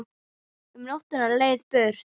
Um nótt á leið burt